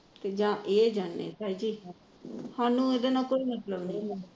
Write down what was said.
ਜਾ ਇਹ ਜਾਣੇ ਤਾਈ ਜੀ ਸਾਨੂੰ ਇਹਦੇ ਨਾਲ ਕੋਈ ਮਤਲਬ ਨਹੀ